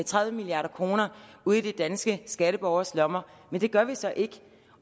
tredive milliard kroner ud i de danske skatteborgeres lommer men det gør vi så ikke